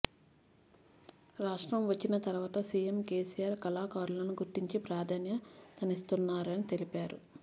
రాష్ట్రం వచ్చిన తర్వాత సీఎం కేసీఆర్ కళాకారులను గుర్తించి ప్రాధాన్యతనిస్తున్నారని తెలిపారు